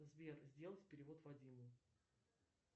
сбер сделать перевод вадиму